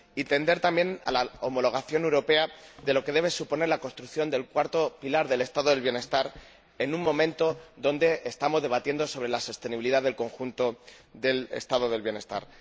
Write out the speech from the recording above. y tender también a la homologación europea de lo que debe suponer la construcción del cuarto pilar del Estado del bienestar, en un momento en que estamos debatiendo sobre la sostenibilidad del conjunto del Estado del bienestar.